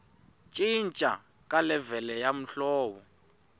cinca ka levhele ya muholo